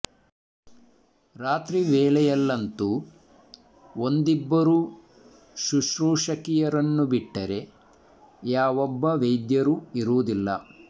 ರಾತ್ರಿ ವೇಳೆಯಲ್ಲಂತೂ ಒಂದಿಬ್ಬರು ಶುಶ್ರೂಷಕಿಯರನ್ನು ಬಿಟ್ಟರೆ ಯಾವೊಬ್ಬ ವೈದ್ಯರು ಇರುವುದಿಲ್ಲ